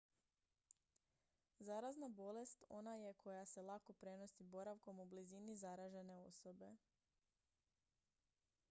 zarazna bolest ona je koja se lako prenosi boravkom u blizini zaražene osobe